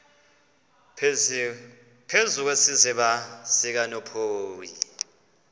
phezu kwesiziba sikanophoyi